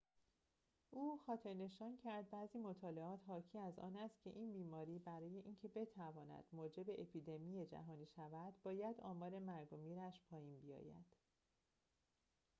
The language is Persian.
او خاطرنشان کرد بعضی مطالعات حاکی از آن است که این بیماری برای اینکه بتواند موجب اپیدمی جهانی شود باید آمار مرگ و میرش پایین بیاید